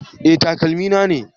Eh, takalmi na ne